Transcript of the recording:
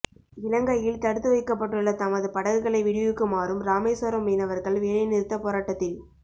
இலங்கையில் தடுத்துவைக்கப்பட்டுள்ள தமது படகுகளை விடுவிக்குமாறும் ராமேஸ்வரம் மீனவர்கள் வேலை நிறுத்தப் போராட்டத்தில்